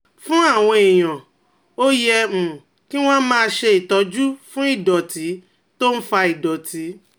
Fún àwọn èèyàn, ó yẹ um kí wọ́n máa ṣe ìtọ́jú fún ìdọ̀tí tó ń fa ìdọ̀tí